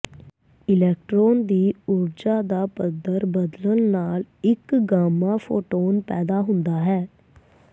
electron ਦੀ ਊਰਜਾ ਦਾ ਪੱਧਰ ਬਦਲਣ ਨਾਲ ਇੱਕ ਗਾਮਾ ਫੋਟੋਨ ਪੈਦਾ ਹੁੰਦਾ ਹੈ